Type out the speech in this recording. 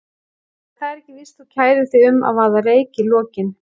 En það er ekki víst þú kærir þig um að vaða reyk í lokin.